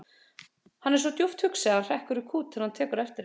Hann er svo djúpt hugsi að hann hrekkur í kút þegar hann tekur eftir henni.